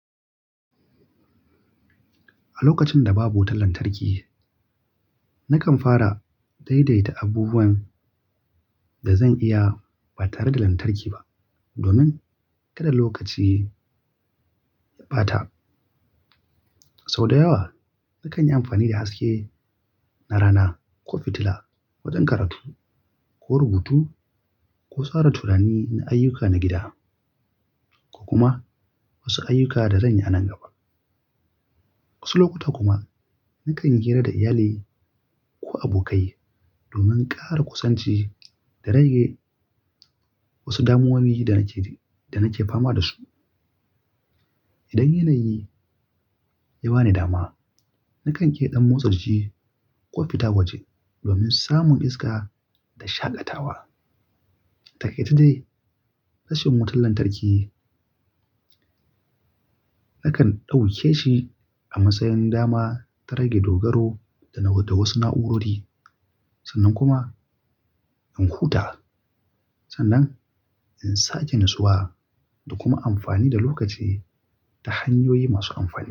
A lokacin da babu wutar lantarki, nakan fara daidaita abubuwan da zan iya ba tare da lantarki ba domin kada lokaci ya ɓata. Sau da yawa, na kan yi amfani da haske na rana ko fitila wajen karatu ko rubutu ko sauran turani na ayyuka na gida, ko kuma wasu ayyuka da zan yi a nan gaba. Wasu lokuta kuma na kan yi hira da iyalai ko abokai domin ƙara kusanci da rage wasu damuwowi da nake fama da su. Idan yanayi ya ba ni dama, na kan ƙira ɗan motsa jiki ko fita waje domin samun iska da shaƙatawa. Taƙaitai, rashin wutar lantarki nakan ɗauke shi a matsayin dama ta rage dogaro da wasu na'urori sannan kuma in huta. Sannan in sake nutsuwa da kuma amfani da lokaci ta hanyoyi masu amfani.